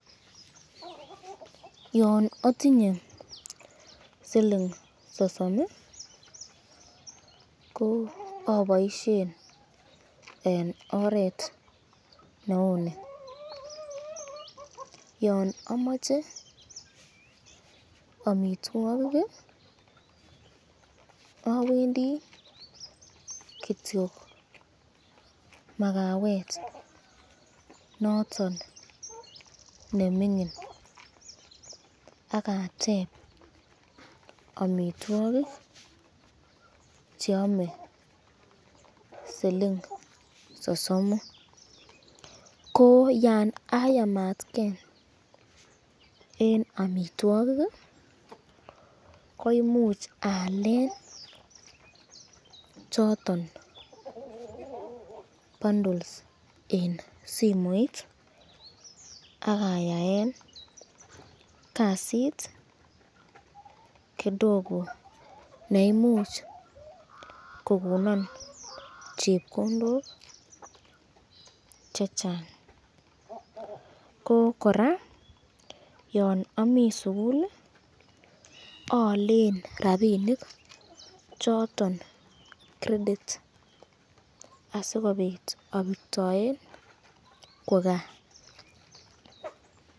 Yon atinye siling sosom aboisyen eng oret neuni, yon amache amitwokik awendi kityo makawet noton nemingin ak ateb amitwokik cheame siling sosomu, ko yan syamatken eng amitwokik koimuch Aalen choton bundles eng simoit akayaen kasit kidogo neimuch kokonon chepkondok chechang, koraa yon Ami sukul Aalen rapinik choton crediti asikobit abirtoen kwo kaa.